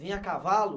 Vinha a cavalo?